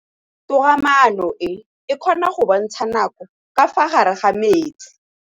Toga-maanô e, e kgona go bontsha nakô ka fa gare ga metsi.